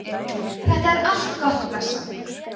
þetta er allt gott og blessað